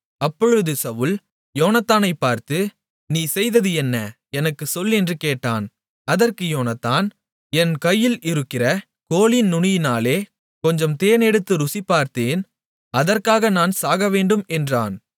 அப்பொழுது சவுல் யோனத்தானைப் பார்த்து நீ செய்தது என்ன எனக்குச் சொல் என்று கேட்டான் அதற்கு யோனத்தான் என் கையில் இருக்கிற கோலின் நுனியினாலே கொஞ்சம் தேன் எடுத்து ருசிபார்த்தேன் அதற்காக நான் சாகவேண்டும் என்றான்